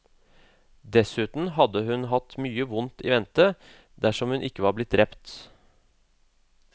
Dessuten hadde hun hatt mye vondt i vente, dersom hun ikke var blitt drept.